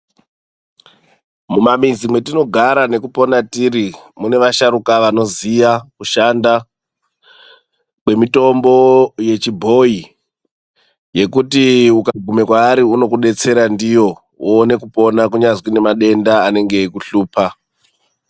Mumamizi mwatinogara nekupona tiri mune vasharuka vanoziya kushanda nemutombo yechibhoyi yekuti ukaguma kwaari unokudetsera ndiyo uone kupona kunyazi kune madenda anenge eikuhlupa.